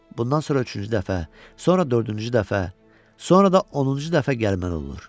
Bundan sonra üçüncü dəfə, sonra dördüncü dəfə, sonra da 10-cu dəfə gəlməli olur.